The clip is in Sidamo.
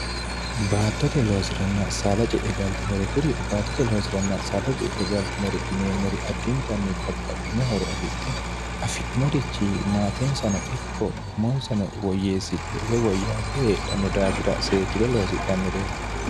baattote loosiranna saada je'e galtinore kuri baattote loosiranna saada je'e galtinore yineemmori addintanni babbaxitinohoro afidhe affidhinorichi maatensano ikko umonsano woyyeessidhe woy woyyaa be eedhanno daafira see kide loosidhannore